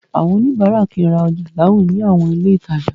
Àwọn oníbàárà kìí ra ọjà láwìn ní àwọn ilé ìtajà.